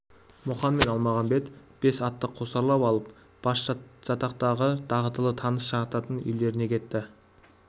мұқан мен әлмағамбет бес атты қосарлап алып басжатақтағы дағдылы таныс жататын үйлеріне кетті